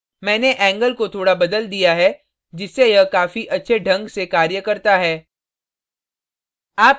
मैंने angle angle को थोड़ा बदल दिया है जिससे यह काफी अच्छे angle से कार्य करता है